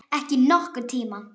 Aldrei nokkurn tíma!